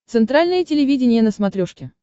центральное телевидение на смотрешке